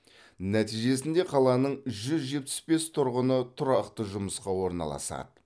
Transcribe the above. нәтижесінде қаланың жүз жетпіс бес тұрғыны тұрақты жұмысқа орналасады